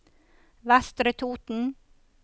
Vestre Toten